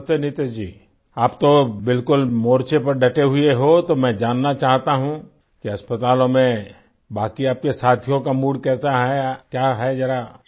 नमस्ते नितीश जी आप तो बिलकुल मोर्चे पर डटे हुए हो तो मैं जानना चाहता हूँ कि अस्पतालों में बाकी आपके साथियों का मूड कैसा है क्या है ज़रा